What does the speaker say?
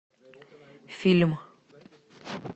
фильм